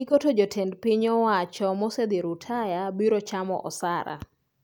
Giko to jotend piny owacho mosedhi rutaya biro chamo osara